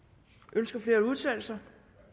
ønsker flere at udtale sig